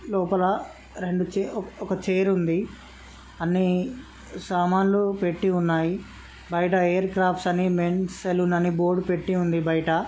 '' లోపల రెండు ఛే ఒక చైర్ ఉంది అన్నీ సామాలు పెట్టి ఉన్నాయి బైట హెయిర్ క్రాఫ్ట్స్ అని మెన్స్ సలూన్ అని బోర్డు పెట్టి ఉంది బయిట .''